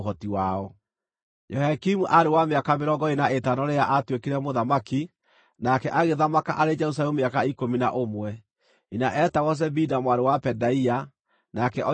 Jehoiakimu aarĩ wa mĩaka mĩrongo ĩĩrĩ na ĩtano rĩrĩa aatuĩkire mũthamaki, nake agĩthamaka arĩ Jerusalemu mĩaka ikũmi na ũmwe. Nyina etagwo Zebida mwarĩ wa Pedaia; nake oimĩte Ruma.